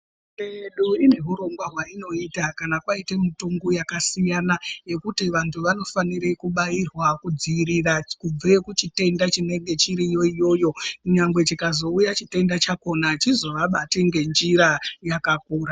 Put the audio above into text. Hurumende yedu ine hurongwa hwainoita kana kwaite mutombo yakasiyana yekuti vandu vano fanirwa kubairwa kudziirira kubve kuchitenda chinenge chiriyo iyoyo nyangwe chikazouya chitenda chakona achizo vabati ngenjira yakakura.